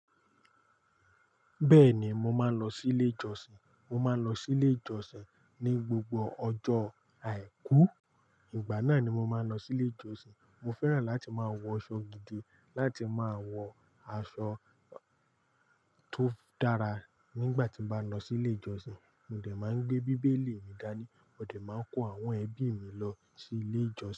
Bẹ́ẹ̀ni, mo máa ń lọ sí ilé ìjọsìn. Mo máa ń lọ sí ilé ìjọsìn ní gbogbo ọjọ́ Àìkú. Ìgbà náà ni mo máa ń lọ sí ilé ìjọsìn. Mo fẹ́ràn láti máa wọṣọ gidi, láti máa wọ aṣọ tó dára nígbà tí mo bá ń lọ sí ilé ìjọsìn. Mo dẹ̀ máa ń gbé Bíbélì mi dání. Mo dẹ̀ máa ń kó àwọn ẹbí mi lọ sí ilé ìjọsìn.